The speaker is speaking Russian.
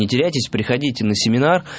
не теряйтесь приходите на семинар